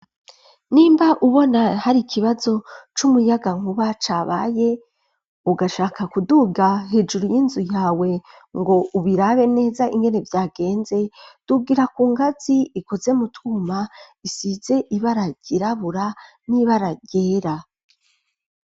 Nimba ubona hari ikibazo c'umuyagankuba cabaye ugashaka kuduga hejuru y'inzu yawe ngo ubirabe neza ingene vyagenze tubwira ku ngatsi ikoze mutuma isize ibara ry'irabura n'ibara ryera.